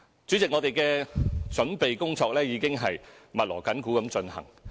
主席，我們的準備工作已經密鑼緊鼓地進行。